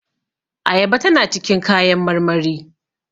Ayaba tana cikin kayan marmari